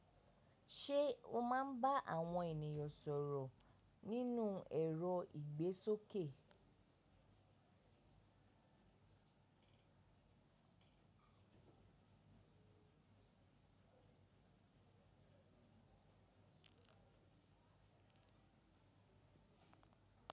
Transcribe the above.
Ṣé o máa ń bá àwọn ènìyàn sọ̀rọ̀ nínú ẹ̀rọ ìgbésókè?